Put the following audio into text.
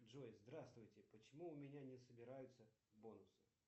джой здравствуйте почему у меня не собираются бонусы